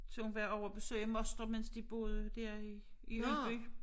Til hun var ovre at besøge moster mens de boede der i i Ølby